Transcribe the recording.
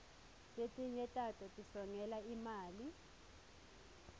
letinye tato tisongela imali